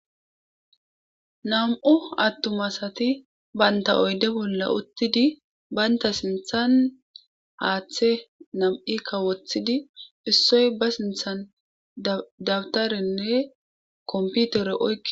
nam7u attum asati baynta oyde bolla uttidi baynta sinthan haaththe nam7i kawothidi issoy ba sinthan dabtarenne komputere oyki